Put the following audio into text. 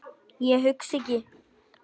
Ég hugsa ekki.